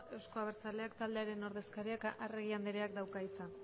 euzko abertzaleak taldearen ordezkariak arregi andreak dauka hitza